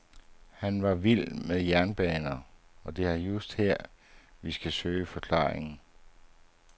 Han var vild med jernbaner, og det er just her vi skal søge forklaringen.